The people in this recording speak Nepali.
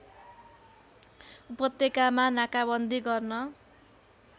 उपत्यकामा नाकाबन्दी गर्न